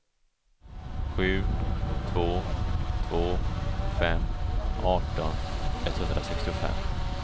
sju två två fem arton etthundrasextiofem